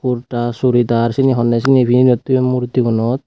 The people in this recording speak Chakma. kurta churidar seni honney seni pinedi toyon murti gunot.